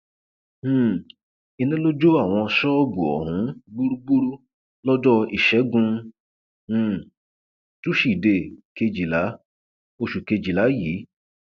um iná ló jó àwọn ṣọọbù ohun gbúgbúrú lọjọ ìṣẹgun um túṣídéé kejìlá oṣù kejìlá yìí